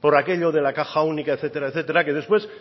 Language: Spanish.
por aquello de la caja única etcétera etcétera que después